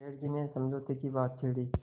सेठ जी ने समझौते की बात छेड़ी